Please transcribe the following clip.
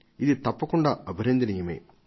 ఇది తప్పకుండా అభినందనీయమే